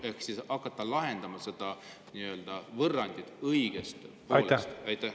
Ehk siis tuleb hakata lahendama seda võrrandit õigest otsast.